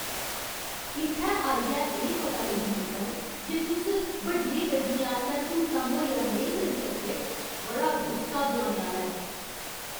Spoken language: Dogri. इत्थै आइयै एह् पता लग्गने उप्पर जे तुस बड्डियें गड्डियें आस्तै स्हूलतां मुहैया नेईं करी सकदे, बड़ा गुस्सा दोआने आह्‌ला ऐ।